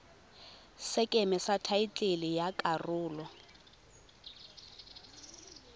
sekeme sa thaetlele ya karolo